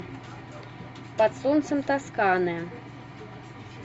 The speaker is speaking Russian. под солнцем тосканы